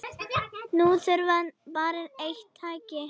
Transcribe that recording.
Nú þarf bara eitt tæki.